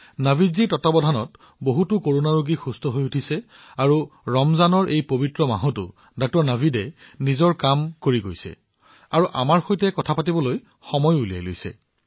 নাভিদজীয়ে তেওঁৰ তত্বাৱধানত বহুতো কৰোনা ৰোগীক চিকিৎসা কৰিছে আৰু ডাঃ নাভিদে এই পবিত্ৰ ৰমজান মাহতো তেওঁৰ কাম কৰি আছে আৰু তেওঁ আমাৰ সৈতে কথা পাতিবলৈ আহৰি উলিয়াইছে